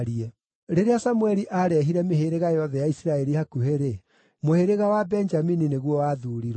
Rĩrĩa Samũeli aarehire mĩhĩrĩga yothe ya Isiraeli hakuhĩ-rĩ, mũhĩrĩga wa Benjamini nĩguo wathuurirwo.